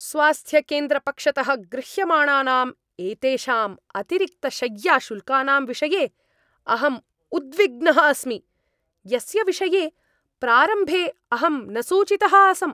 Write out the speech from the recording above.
स्वास्थ्यकेन्द्रपक्षतः गृह्यमाणानाम् एतेषाम् अतिरिक्तशय्याशुल्कानां विषये अहं उद्विग्नः अस्मि, यस्य विषये प्रारम्भे अहं न सूचितः आसम्।